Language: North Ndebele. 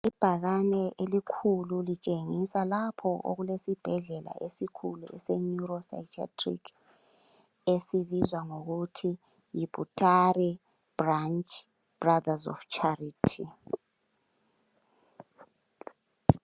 Ibhakani eilkhulu litshengisa lapho okulesibhedlela esikhulu esibizwa ngokuthi Butare Branch Brother's Of Charity.